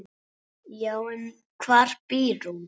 Já, en hvar býr hún?